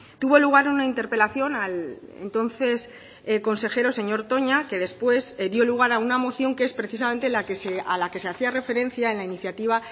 tuvo lugar una interpelación al entonces consejero señor toña que después dio lugar a una moción que es precisamente a la que se hacía referencia en la iniciativa